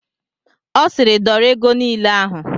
Ọ siiri dọrọ ego niile ahụ!